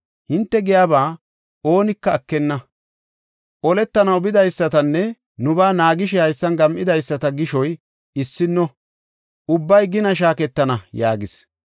Hinte giyaba oonika ekenna. Oletanaw bidaysatanne nubaa naagishe haysan gam7idaysata gishoy issino; ubbay gina shaaketana” yaagis.